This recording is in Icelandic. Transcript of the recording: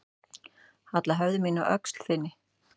Halla höfði mínu að öxl þinni.